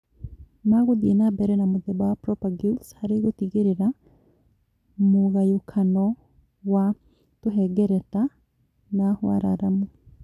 ma gũthiĩ na mbere na mũthemba wa propagules harĩ gũtigĩrĩra mũgayũkano wa tũhengereta na wararamu